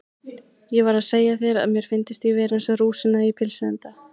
Ég var að segja þér að mér fyndist ég vera eins og rúsína í pylsuenda